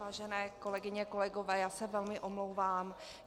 Vážené kolegyně, kolegové, já se velmi omlouvám.